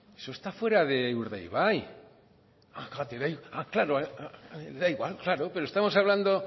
eso está fuera de urdaibai ah claro da igual claro pero estamos hablando